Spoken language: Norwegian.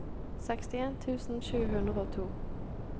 sekstien tusen sju hundre og to